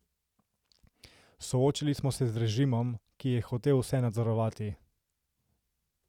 Soočili smo se z režimom, ki je hotel vse nadzorovati.